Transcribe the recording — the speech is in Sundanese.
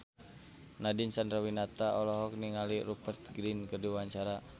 Nadine Chandrawinata olohok ningali Rupert Grin keur diwawancara